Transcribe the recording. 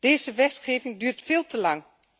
Deze wetgeving duurt veel te lang.